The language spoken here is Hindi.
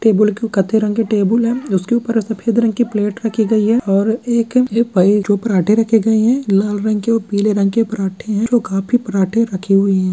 टेबुल के उसके ऊपर कथे रंग के टेबुल है उसके ऊपर एक सफेद रंग की परांठे रखेली है और एक जो पराँठा रखे गए है लाल रंग के पीले रंग के पराठे जो काफी पराठे रखे हुए हैं।